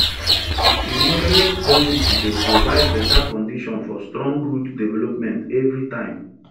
e moderate density dey provide better condition for strong root development every time